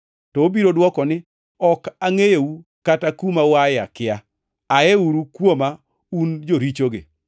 “To obiro dwoko ni, ‘Ok angʼeyou, kata kuma uae akia. Ayiuru kuoma un jorichogi!’